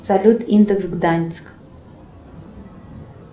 салют индекс гданьск